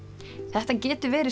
þetta getur verið